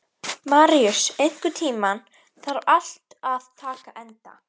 Maríus, einhvern tímann þarf allt að taka enda.